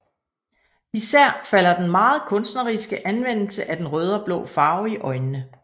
Især falder den meget kunstneriske anvendelse af den røde og blå farve i øjnene